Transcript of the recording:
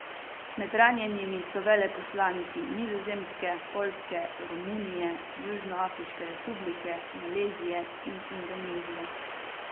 Med ranjenimi so veleposlaniki Nizozemske, Poljske, Romunije, Južnoafriške republike, Malezije in Indonezije.